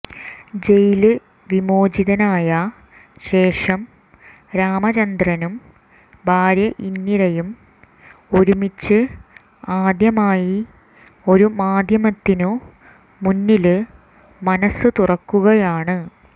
ജയില് വിമോചിതനായ േശഷം രാമചന്ദ്രനും ഭാര്യ ഇന്ദിരയും ഒരുമിച്ച് ആദ്യമായി ഒരു മാധ്യമത്തിനു മുന്നില് മനസ്സ് തുറക്കുകയാണ്